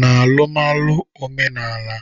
N'alụmalụ omenaala,